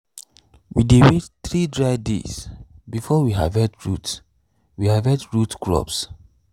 we dey wait three dry days before we harvest root we harvest root crops.